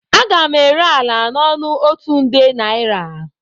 Aga m ere ala n'ọnụ otu nde naira